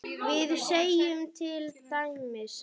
við segjum til dæmis